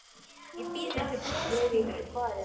Ég bít mig til blóðs í fingurinn.